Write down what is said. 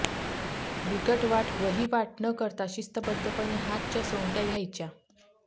बिकट वाट वहिवाट न करता शिस्तबद्धपणे हातच्या सोंगट्या घ्यायच्या